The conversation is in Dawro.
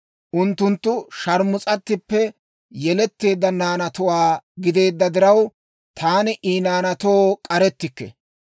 Unttunttu sharmus'attippe yeletteedda naanatuwaa gideedda diraw, taani I naanaatoo k'arettikke.